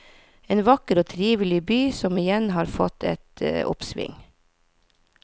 En vakker og trivelig by som igjen har fått et oppsving.